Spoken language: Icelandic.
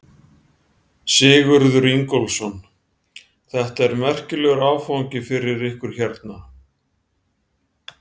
Sigurður Ingólfsson: Þetta er merkilegur áfangi fyrir ykkur hérna?